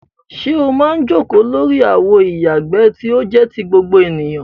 Ṣé o máa ń jókòó lórí àwo ìyàgbẹ́ tí ó jẹ́ ti gbogbo ènìyàn?